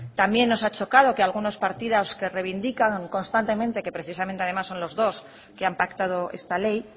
también nos ha chocado que algunos partidos que reivindican constantemente que precisamente además son los dos que han pactado esta ley